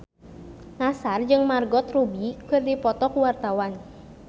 Nassar jeung Margot Robbie keur dipoto ku wartawan